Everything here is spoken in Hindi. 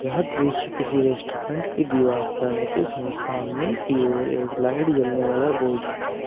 यह दृश्य किसी रेस्टोरेंट की दीवार का है जिसमें सामने की ओर एक लाइट जलने वाला बोर्ड लगा हुआ--